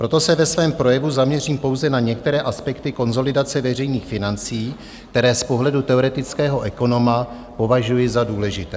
Proto se ve svém projevu zaměřím pouze na některé aspekty konsolidace veřejných financí, které z pohledu teoretického ekonoma považuji za důležité.